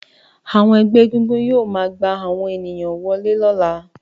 Àwọn ẹgbẹ́ egúngún yóò máa gbà àwọn ènìyàn wọlé lọ́la